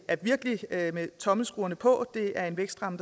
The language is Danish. virkelig er med tommelskruerne på det er en vækstramme